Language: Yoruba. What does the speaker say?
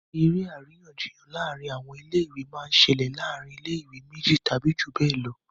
eré àríyànjiyàn láàrin àwọn ilé ìwé máa ń ṣẹlẹ̀ láàrin ilé ìwé méjì tàbí jù bẹ́ẹ̀ lọ